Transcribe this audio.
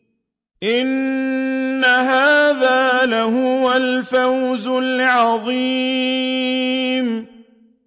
إِنَّ هَٰذَا لَهُوَ الْفَوْزُ الْعَظِيمُ